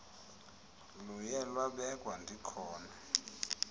luye lwabekwa ndikhona